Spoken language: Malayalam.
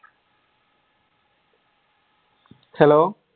hello